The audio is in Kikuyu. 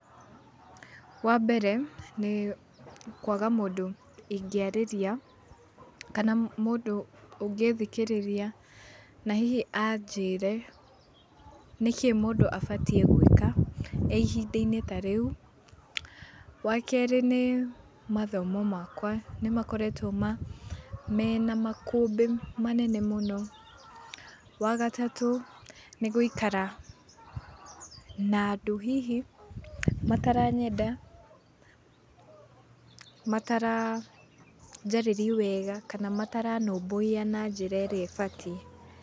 Wambere, nĩĩ kwaga mũndũ ingĩarĩria, kana mũndũ ũngĩthikĩrĩria, na hihi anjĩre nĩkĩĩ mũndũ abatiĩ gwĩka, e ihinda-inĩ ta rĩu. Wakeri nĩĩ mathomo makwa nĩmakoretũo ma, mena makũmbĩ manene mũno. Wagatatũ nĩgũikara na ndũ hihi mataranyenda, mataranjarĩria wega, kana mataranũmbũiya na njĩra ĩrĩa ĩbatie.